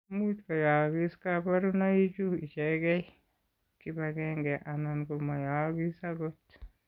Much ko yookis kabarunoik chu ichegee, kibagenge anan ko mayookis akot.